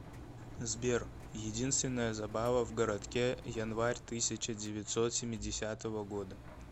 сбер единственная забава в городке январь тысяча девятьсот семидесятого года